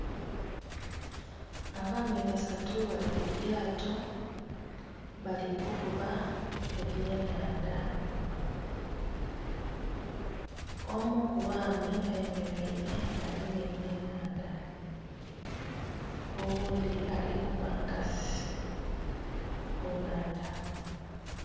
Abaami basatu bali ku lyato bali kuvuba ebyenhandha. Omu ku baami ayemeleile agemye ebyenhandha oghundhi ali kuba nkasi ku nnhandha.